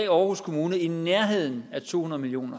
aarhus kommune i nærheden af to hundrede million